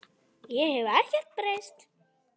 Ég hef ekkert breyst!